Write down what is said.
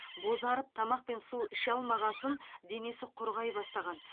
бозарып тамақ пен су іше алмағасын денесі құрғай бастаған